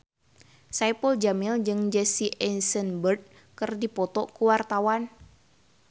Saipul Jamil jeung Jesse Eisenberg keur dipoto ku wartawan